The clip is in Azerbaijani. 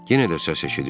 Yenə də səs eşidildi.